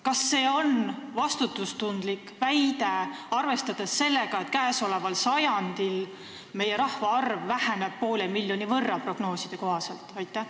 Kas see on vastutustundlik väide, arvestades seda, et käesoleval sajandil meie rahvaarv prognooside kohaselt väheneb poole miljoni võrra?